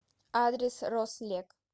адрес рослек